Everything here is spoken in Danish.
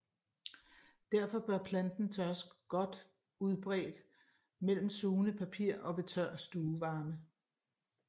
Derfor bør planten tørres godt udbredt mellem sugende papir og ved tør stuevarme